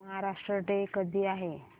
Maharashtra day कधी आहे